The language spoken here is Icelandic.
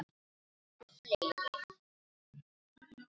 Eru fleiri?